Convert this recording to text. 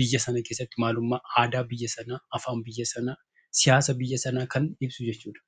biyya sana keessatti, aadaa biyya sanaa , afaan biyya sanaa siyaasa biyya sanaa kan ibsu jechuudha.